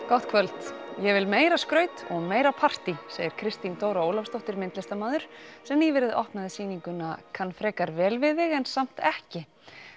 gott kvöld ég vil meira skraut og meira partí segir Kristín Dóra Ólafsdóttir myndlistarmaður sem nýverið opnaði sýninguna kann frekar vel við þig en samt ekki